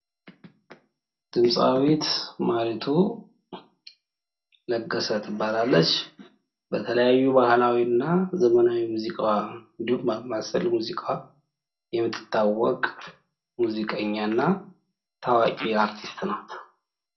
ድምጻዊት ማሪቱ ለገሰ ትባላለች። በተለያዩ ባህላዊ እና ዘመናዊ ሙዚቃዋ እንዲሁም በአምባሰል ሙዚቃዋ የምተታወቅ ሙዚቀኛ እና ታዋቂ አርቲስት ናት።